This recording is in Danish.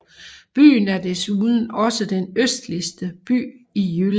Byen er desuden også den østligste by i Jylland